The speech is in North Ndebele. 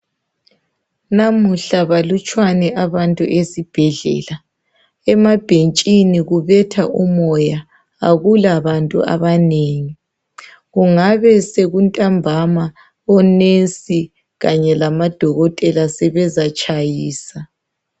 Namuhla balatshwane abantu esibhedlela. Emabhentsheni kubetha umoya, akulabantu abanengi. Kungabe kuntambama onensi kanye lamadokotela sebezatshayisa.